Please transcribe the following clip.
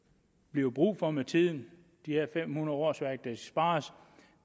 bliver brug for med tiden de her fem hundrede årsværk der spares